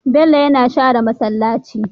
Bello yAna shere masalaci